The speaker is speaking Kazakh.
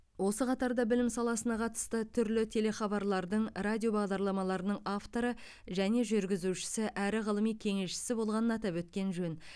осы қатарда білім саласына қатысты түрлі телехабарлардың радио бағдарламаларының авторы және жүргізушісі әрі ғылыми кеңесшісі болғанын атап өткен жөн